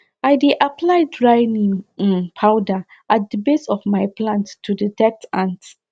i dey apply dry neem um powder at the base of my plants to deter ants